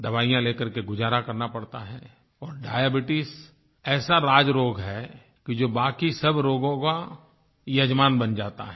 दवाइयाँ ले कर के गुजारा करना पड़ता है और डायबीट्स ऐसा राजरोग है कि जो बाकी सब रोगों का यजमान बन जाता है